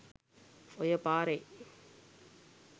ඔය පාරේ